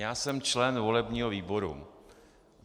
Já jsem členem volebního výboru.